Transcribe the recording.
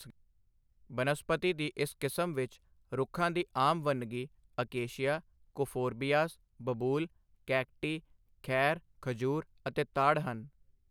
ਬਨਸਪਤੀ ਦੀ ਇਸ ਕਿਸਮ ਵਿਚ ਰੁੱਖਾਂ ਦੀ ਆਮ ਵੰਨਗੀ ਅਕੇਸ਼ੀਆ ਕੁਫੋਰਬੀਆਸ ਬਬੂਲ ਕੈਕਟੀ ਖੈਰ ਖਜੂਰ ਅਤੇ ਤਾੜ ਹਨ।